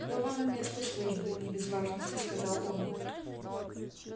к новому месту службы не без важности сказал он